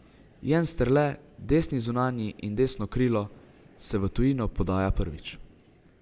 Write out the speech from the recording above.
Jensterle, desni zunanji in desno krilo, se v tujino podaja prvič.